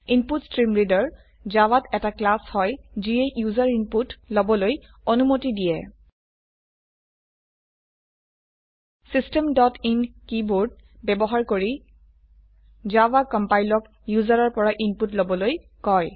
input stream reader জাভাত এটা class হয় যিয়ে ইউজাৰ ইনপুট লবলৈ অনুমতি দিয়ে চিষ্টেম ডট ইন কীবোৰ্ড ব্যবহাৰ কৰি জাভা কম্পাইলক ইউজাৰৰ পৰা ইনপুট লবলৈ কয়